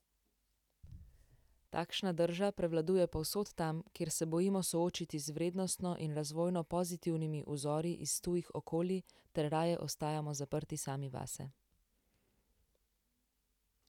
Takšna drža prevladuje povsod tam, kjer se bojimo soočiti z vrednostno in razvojno pozitivnimi vzori iz tujih okolij ter raje ostajamo zaprti sami vase.